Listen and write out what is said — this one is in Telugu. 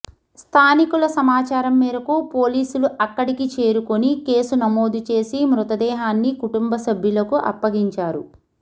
స్థానికుల సమాచారం మేరకు పోలీసులు అక్కడికి చేరుకొని కేసు నమోదు చేసి మృతదేహాన్ని కుటుంబ సభ్యులకు అప్పగించారు